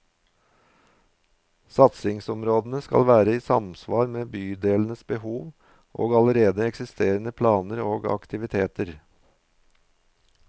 Satsingsområdene skal være i samsvar med bydelenes behov og allerede eksisterende planer og aktiviteter.